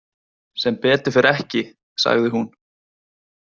Sem betur fer ekki, sagði hún.